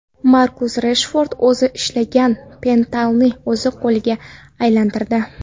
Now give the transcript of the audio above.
Markus Reshford o‘zi ishlagan penaltini o‘zi golga aylantirdi.